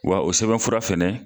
Wa o sɛbɛn fura fɛnɛ